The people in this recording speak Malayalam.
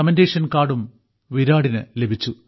കമന്റേഷൻ കാർഡും വിരാടിന് ലഭിച്ചു